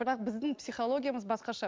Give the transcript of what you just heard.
бірақ біздің психологиямыз басқаша